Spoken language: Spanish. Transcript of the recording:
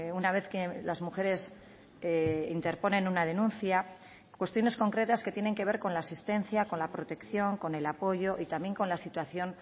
una vez que las mujeres interponen una denuncia cuestiones concretas que tienen que ver con la asistencia con la protección con el apoyo y también con la situación